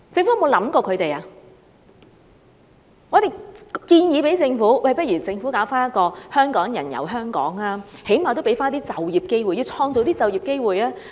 我們建議政府舉辦一些"香港人遊香港"的本地團，最少能夠創造一些就業機會。